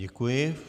Děkuji.